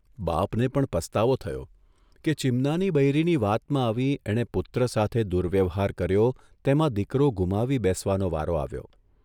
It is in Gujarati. બાપને પણ પસ્તાવો થયો કે ચીમનાની બૈરીની વાતમાં આવી એણે પુત્ર સાથે દુર્વ્યવહાર કર્યો તેમાં દીકરો ગુમાવી બેસવાનો વારો આવ્યો.